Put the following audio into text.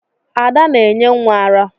Ada na-enye nwa ara.